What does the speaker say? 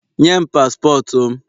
Nye m paspọtụ m